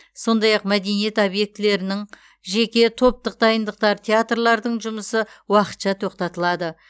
сондай ақ мәдениет объектілерінің жеке топтық дайындықтар театрлардың жұмысы уақытша тоқтатылады